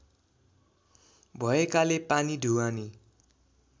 भएकाले पानी ढुवानी